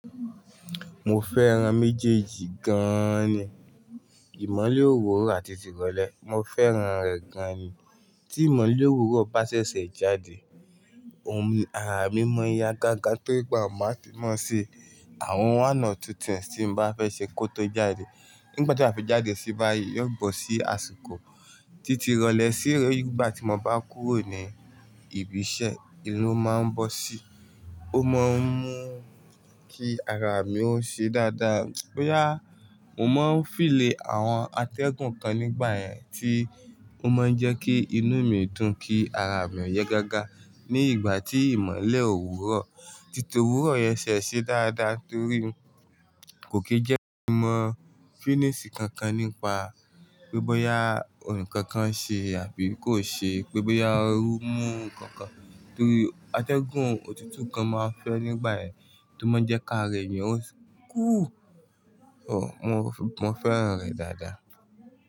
Mo fẹ́ran méjèèjì gan ni. Ìmọ́lẹ̀ òwúrọ̀ àti tìrọlẹ. Mo fẹ́ran rẹ̀ gan ni. Tí ìmọ́lẹ̀ òwúrọ̀ bá ṣẹ̀ṣẹ̀ jáde, ara mi mọ́ ya gágá torí pé máa ti mọ̀ se àwọn one two things tí n bá fẹ́ ṣe kó tó jáde. Nígbà tí a bá fi jáde sí báyìí, yóò bọ́ sí àsìkò tí ti rọlẹ sí ìgbà tí mo bá kúrò ní ibi iṣẹ́. Ìlo máa ń bọ́ sí, ó máa ń mú kí ara mi ó ṣe dáadáa. Bóyá, mo máa ń feel àwọn atẹ́gùn kan nígbà yẹn tí ó máa ń jẹ́ kí inú mi dùn kí ara mi yà gágá ní ìgbà tí ìmọ́lẹ̀ òwúrọ̀, títí òwúrọ̀ yẹn ṣẹ̀ ṣe dáadáa torí kò kí jẹ́ kí mo mọ fínísí kankan nípa pé bọ́yá ohun kankan ṣe àbí kò ṣe, pé bọ́yá ooru mú nnkan kankan torí atẹ́gùn òtútù kan máa ń fẹ́ nígbà yẹn tí ó máa ń jẹ́ ká rẹ̀ ni ó ń kúù. Mo fẹ́ran rẹ̀ dáadáa.